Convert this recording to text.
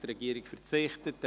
Die Regierung verzichtet.